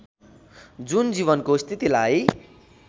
जुन जीवनको स्थितिलाई